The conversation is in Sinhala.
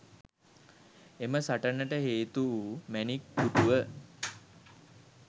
එම සටනට හේතුවූ මැණික් පුටුව